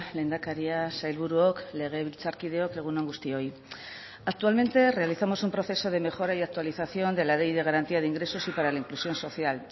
lehendakaria sailburuok legebiltzarkideok egun on guztioi actualmente realizamos un proceso de mejora y actualización de la ley de garantía de ingresos y para la inclusión social